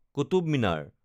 Qutub Minar